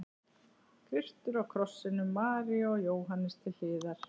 Kristur á krossinum, María og Jóhannes til hliðar.